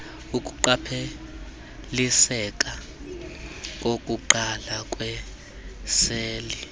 ukuqapheliseka kokuqala kweeseli